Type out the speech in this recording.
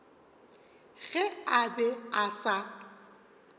ge a be a sa